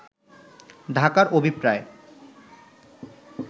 ঢাকার অভিপ্রায়